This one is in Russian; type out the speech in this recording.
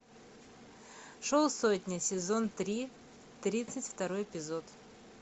шоу сотня сезон три тридцать второй эпизод